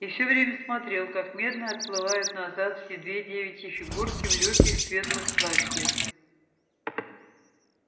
и всё время смотрел как медленно отплывают назад две девичьи фигурки в лёгких светлых платьях